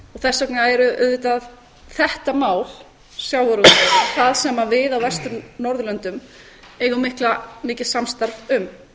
þess vegna er auðvitað þetta mál sjávarútvegurinn það sem við á vestur norðurlöndum eigum mikið samstarf um